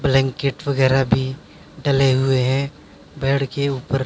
blanket वगैरा भी डले हुए हैं बेड के ऊपर --